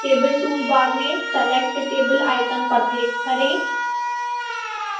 table toolbar में select table icon पर click करें